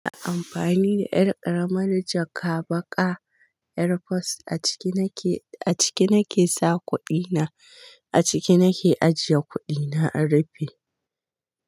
Ina amfani da ƴar ƙaramar jaka baƙa, yarforce a ciki nake, a ciki nake sa kuɗi na, a ciki nake ajiye kuɗi na a rufi.